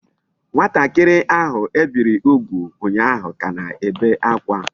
Nwatakiri ahu ebiri ugwu unyahu ka na-ebe akwa